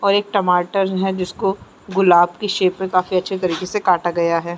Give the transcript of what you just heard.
और एक टमाटर है जिसको की गुलाब की शेप में काफी अच्छे तरीके से काटा गया है।